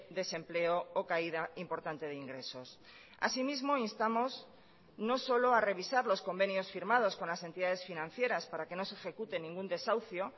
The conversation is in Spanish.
desempleo o caída importante de ingresos asimismo instamos no solo a revisar los convenios firmados con las entidades financieras para que no se ejecute ningún desahucio